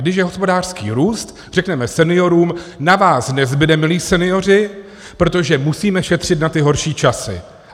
Když je hospodářský růst, řekneme seniorům: na vás nezbude, milí senioři, protože musíme šetřit na ty horší časy.